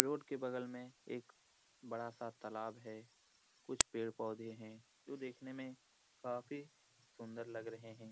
Road के बगल में एक बड़ा-सा तलाब है कुछ पेड़-पौधे है जो देखने में काफी सुंदर लग रहे हैं।